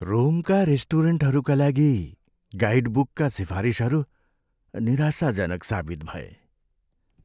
रोमका रेस्टुरेन्टहरूका लागि गाइडबुकका सिफारिसहरू निराशाजनक साबित भए।